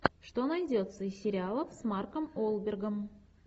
что найдется из сериалов с марком уолбергом